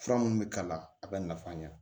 Fura minnu bɛ k'a la a bɛ nafa ɲɛ